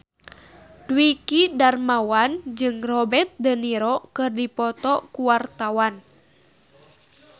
Dwiki Darmawan jeung Robert de Niro keur dipoto ku wartawan